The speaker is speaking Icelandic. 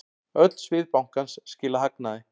Öll svið bankans skila hagnaði.